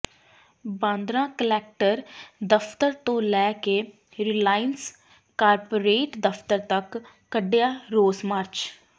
Bandra collector ਦਫ਼ਤਰ ਤੋਂ ਲੈ ਕੇ ਰਿਲਾਇੰਸ ਕਾਰਪੋਰੇਟ ਦਫ਼ਤਰ ਤੱਕ ਕੱਢਿਆ ਰੋਸ ਮਾਰਚ